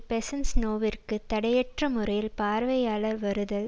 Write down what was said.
பெசன்ஸெநோவிற்கு தடையற்ற முறையில் பார்வையாளர் வருதல்